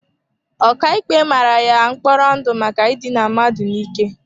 Ọkàikpe mara ya mkpọrọ ndụ maka idina mmadụ n'ike.